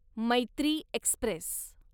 Maitri Express